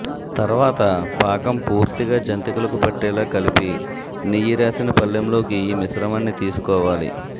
తర్వాత పాకం పూర్తిగా జంతికలకు పట్టేలా కలిపి నెయ్యి రాసిన పళ్లెంలోకి ఈ మిశ్రమాన్ని తీసుకోవాలి